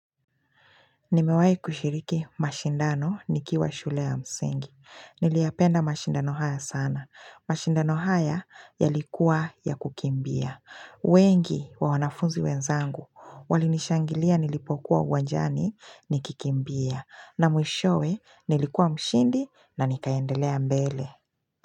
Nimewahi kushiriki mashindano nikiwa shule ya msingi. Niliyapenda mashindano haya sana. Mashindano haya yalikuwa ya kukimbia. Wengi wa wanafunzi wenzangu. Walinishangilia nilipokuwa uwanjani nikikimbia. Na mwishowe nilikuwa mshindi na nikaendelea mbele.